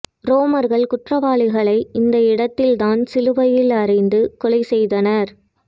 ரோமர்கள் குற்றவாளிகளை இந்த இடத்தில் தான் சிலுவையில் அறைந்து கொலை செய்தனர்